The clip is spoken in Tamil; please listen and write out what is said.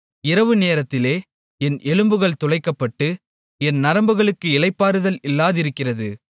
இரவுநேரத்திலே என் எலும்புகள் துளைக்கப்பட்டு என் நரம்புகளுக்கு இளைப்பாறுதல் இல்லாதிருக்கிறது